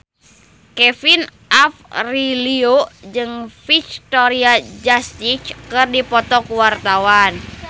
Kevin Aprilio jeung Victoria Justice keur dipoto ku wartawan